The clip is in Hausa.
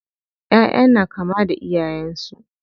ƴaʼƴa na kama da iyayen su.